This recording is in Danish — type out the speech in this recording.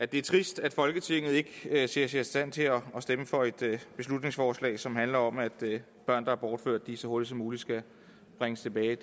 det er trist at folketinget ikke ser sig i stand til at stemme for et beslutningsforslag som handler om at børn der er bortført så hurtigt som muligt skal bringes tilbage